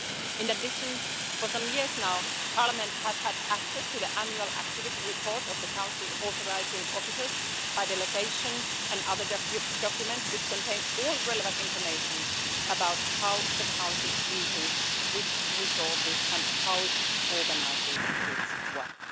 In addition, for some years now Parliament has had access to the annual activity reports of the Council's authorising officers by delegation and other documents which contain all relevant information about how the Council uses its resources and how it organises its work.